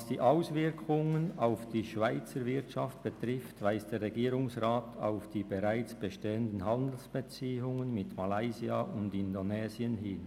Was die Auswirkungen auf die Schweizer Wirtschaft betrifft, weist der Regierungsrat auf die bereits bestehenden Handelsbeziehungen mit Malaysia und Indonesien hin.